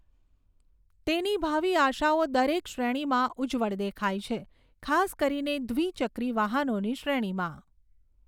તેની ભાવિ આશાઓ દરેક શ્રેણીમાં ઉજ્જવળ દેખાય છે, ખાસ કરીને દ્વિ ચક્રી વાહનોની શ્રેણીમાં.